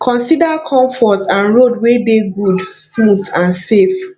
consider comfort and road wey dey good smooth and safe